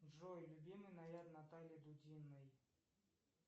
джой любимый наряд натальи дудиной